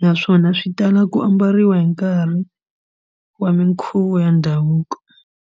naswona swi tala ku ambariwa hi nkarhi wa minkhuvo ya ndhavuko.